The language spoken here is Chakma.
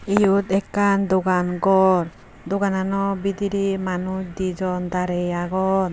Eyot ekkan dogan gor doganano beedirey manuch dijon darey agon.